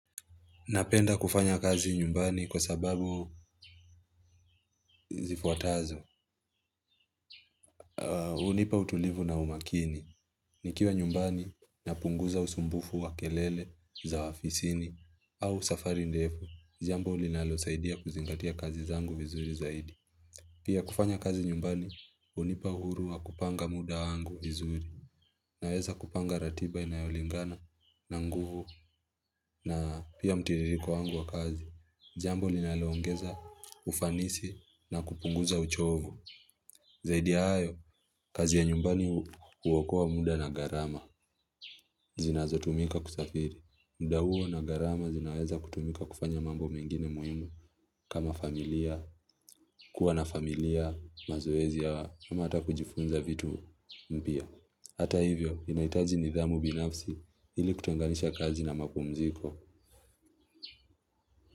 Napenda kufanya kazi nyumbani kwa sababu zifuatazo, hunipa utulivu na umakini, nikiwa nyumbani napunguza usumbufu wa kelele za afisini au safari ndefu, jambo linalo saidia kuzingatia kazi zangu vizuri zaidi. Pia kufanya kazi nyumbani hunipa uhuru wa kupanga muda wangu vizuri, naweza kupanga ratiba inayolingana na nguvu, na pia mtiririko wangu wa kazi, jambo ninalo ongeza ufanisi na kupunguza uchovu. Zaidi ya hayo, kazi ya nyumbani huokoa muda na garama zinazo tumika kusafiri. Muda huo na garama zinaweza kutumika kufanya mambo mengine muhimu kama familia, kuwa na familia, mazoezi, ama hata kujifunza vitu mpya. Hata hivyo, inahitaji nidhamu binafsi ili kutenganisha kazi na mapumziko.